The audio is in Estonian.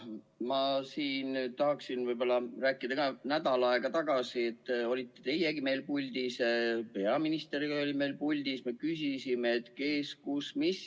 Ma tahan öelda, et ka nädal aega tagasi olite teie meil saalis, peaministergi oli meil saalis, ja me küsisime, kes, kus, mis.